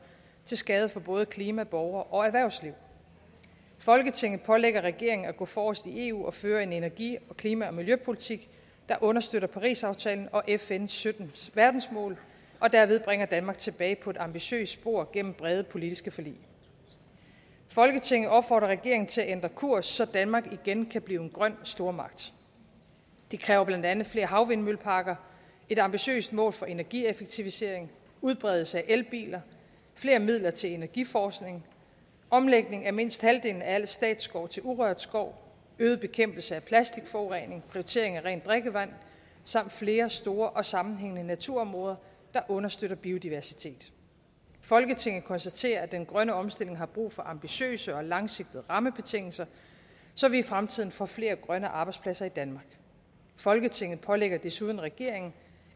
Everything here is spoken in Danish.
til skade for både klima borgere og erhvervsliv folketinget pålægger regeringen at gå forrest i eu og føre en energi og klima og miljøpolitik der understøtter parisaftalen og fns sytten verdensmål og derved bringer danmark tilbage på et ambitiøst spor gennem brede politiske forlig folketinget opfordrer regeringen til at ændre kurs så danmark igen kan blive en grøn stormagt det kræver blandt andet flere havvindmølleparker et ambitiøst mål for energieffektivisering udbredelse af elbiler flere midler til energiforskning omlægning af mindst halvdelen af al statsskov til urørt skov øget bekæmpelse af plastikforurening prioritering af rent drikkevand samt flere store og sammenhængende naturområder der understøtter biodiversitet folketinget konstaterer at den grønne omstilling har brug for ambitiøse og langsigtede rammebetingelser så vi i fremtiden får flere grønne arbejdspladser i danmark folketinget pålægger desuden regeringen